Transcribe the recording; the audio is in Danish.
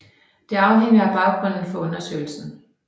Det afhænger af baggrunden for undersøgelsen